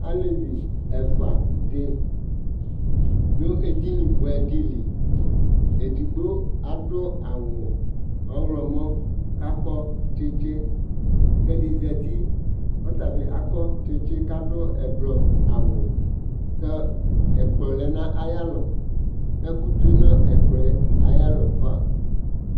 Aalevi ɛfuaɖi ɖʋ edini buɛɖili eɖigbo aɖʋ awu ɔɣlɔmɔ, k'akɔ tsitsi, k'ɛɖi zati k'ɔtabi akɔ tsitsi, k'aɖʋ ʋblɔ awuK'ɛkplɔ lɛ n'ayalɔk'ɛkʋ tsue, n'ɛkplɔɛ ayava